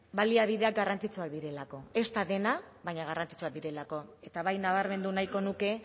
baliabideak garrantzitsuak direlako ez da dena baina garrantzitsuak direlako eta bai nabarmendu nahiko nuke